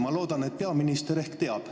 Ma loodan, et peaminister teab.